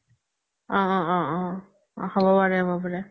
অ অ অ হ্'ব পাৰে হ্'ব পাৰে